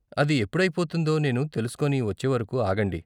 అది ఎప్పుడైపోతుందో నేను తెలుసుకొని వచ్చేవరకు ఆగండి.